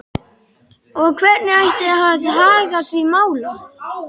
Og hvernig ætti að haga því máli?